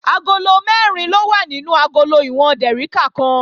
Agolo mẹ́rin ló wà nínú agolo ìwọ̀n dèríkà kan